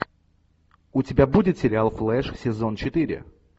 у тебя будет сериал флэш сезон четыре